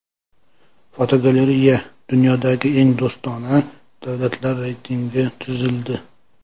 Fotogalereya: Dunyodagi eng do‘stona davlatlar reytingi tuzildi.